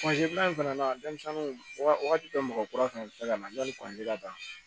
fila in fana denmisɛnninw wagati bɛɛ mɔgɔ kura fɛnɛ ka na dɔnni ka ban